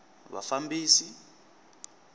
vafambisi